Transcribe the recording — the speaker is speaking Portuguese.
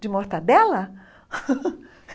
De mortadela?